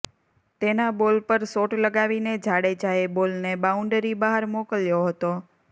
તેના બોલ પર શોટ લગાવીને જાડેજાએ બોલને બાઉન્ડરી બહાર મોકલ્યો હતો